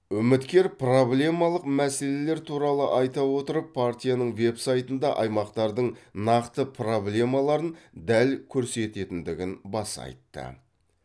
үміткер проблемалық мәселелер туралы айта отырып партияның веб сайтында аймақтардың нақты проблемаларын дәл көрсететіндігін баса айтты